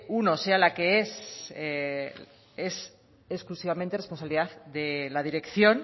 uno sea la que es exclusivamente responsabilidad de la dirección